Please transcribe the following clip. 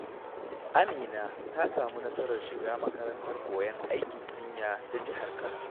Amina ta samu nasarar shiga makarantar koyon aikin jinya ta Jihar Kano.